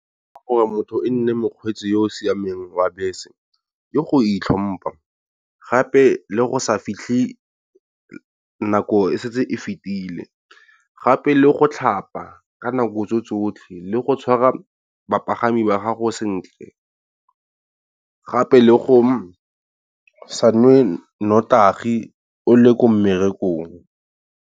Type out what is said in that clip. Ke gore motho e nne mokgweetsi yo o siameng wa bese ya go itlhompa, gape le go sa fitlhe nako e setse e fetile gape le go tlhapa ka nako tsotlhe. Le go tshwara bapagami ba gago sentle, gape le go sa nwe nnotagi o le ko mmerekong.